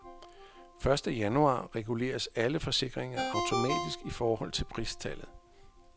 Første januar reguleres alle forsikringer automatisk i forhold til pristallet.